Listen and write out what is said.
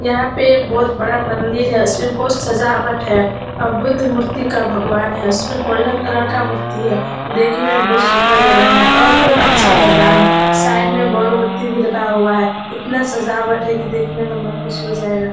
यहाँ पे एक बहोत बड़ा मंदिर है। उसमें बहोत सजावट है और बुद्ध मूर्ति का भगवान है। उसमें गोल्डन कलर का मूर्ति है देखने में बहोत सुन्दर लग रहा है और बहोत अच्छा मैदान है। साइड में बल्ब बत्ती भी लगा हुआ है। इतना सजावट है की देखने में मन खुश हो जाएगा।